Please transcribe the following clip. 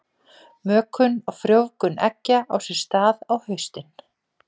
Mökun og frjóvgun eggja á sér stað á haustin.